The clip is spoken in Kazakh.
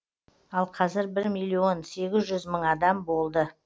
ал қазір бір миллион сегіз жүз мың адам болды